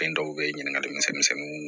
Fɛn dɔw be ye ɲininkali misɛnninw